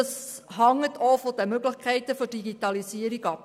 Das hängt auch von den Möglichkeiten der Digitalisierung ab.